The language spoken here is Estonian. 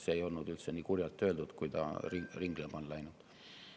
See ei olnud üldse nii kurjalt öeldud kui see, mis ringlema on läinud.